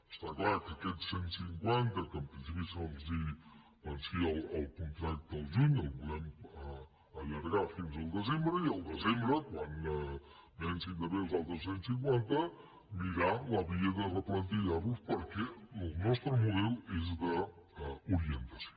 està clar que aquests cent cinquanta que en principi els vencia el contracte al juny els volem allargar fins al desembre i al desembre quan vencin també els altres cent cinquanta mirar la via de replantillar los perquè el nostre model és d’orientació